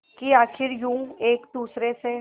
कि आखिर यूं एक दूसरे से